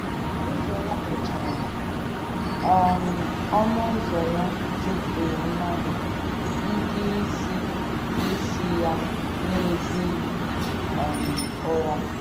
Ụzọ ya mechara, um ọnụ ụzọ ya jupụghị mmadụ, ndị isi isi ya na-ezighị um ụra.